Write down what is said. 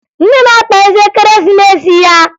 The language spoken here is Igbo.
Nne na-akpa isi Ekeresimesi ya